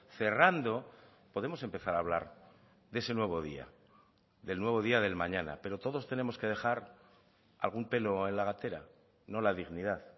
cerrando podemos empezar a hablar de ese nuevo día del nuevo día del mañana pero todos tenemos que dejar algún pelo en la gatera no la dignidad